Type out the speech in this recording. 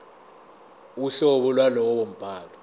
uhlobo lwalowo mbhalo